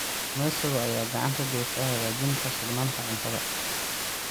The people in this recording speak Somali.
Kalluumeysiga ayaa gacan ka geysta hagaajinta sugnaanta cuntada.